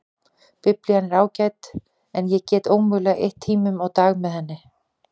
Biblían er ágæt en ég get ómögulega eytt tíu tímum á dag með henni.